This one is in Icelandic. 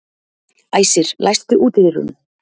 Æsir, læstu útidyrunum.